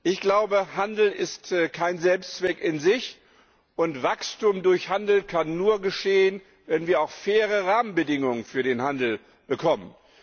Ich glaube, Handel ist kein Selbstzweck, und Wachstum durch Handel kann nur geschehen, wenn wir auch faire Rahmenbedingungen für den Handel bekommen.